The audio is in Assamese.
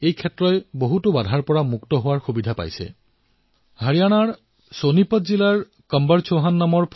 তেওঁ কৈছে যে কিদৰে এটা সময়ত তেওঁ বজাৰৰ বাহিৰত নিজৰ ফল আৰু শাকপাচলি বিক্ৰী কৰিবলৈ সমস্যাৰ সন্মুখীন হৈছিল